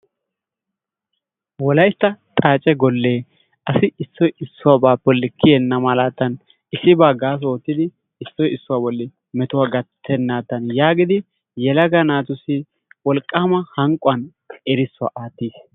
Wolaytta xaacce golle asi issoy issuwabaa bollan kiyennamalddan issibaa gaasso oottidi issoy issuwa bolli metuwa gattenadan yaagidi yelga naatussi wolqqaama hanqquwan kiitaa aattiis.